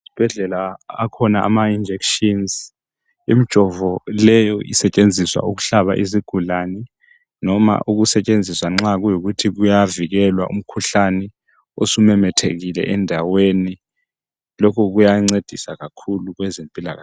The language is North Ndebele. Esibhedlela akhona ama injections imijovo leyi isetshenziswa ukuhlaba izigulane noma ukusetshenziswa nxa kuyikuthi kuyavikelwa umkhuhlane osumemethekile endaweni lokhu kuya ncedisa kakhulu kwezempilakahle